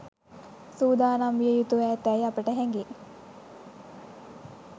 සූදානම් විය යුතුව ඇතැයි අපට හැ‍ඟේ.